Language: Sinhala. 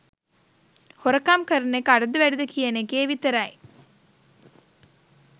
හොරකම් කරන එක අඩුද වැඩිද කියන එකේ විතරයි